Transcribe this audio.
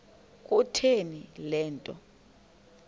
kutheni le nto